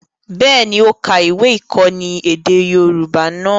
Bẹ́ẹ̀ni, ó ka ìwé-ìkọ́ni èdè Yorùbá náà.